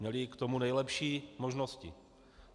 Měly k tomu nejlepší možnosti.